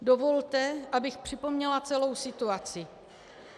Dovolte, abych připomněla celou situaci.